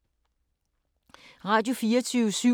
Radio24syv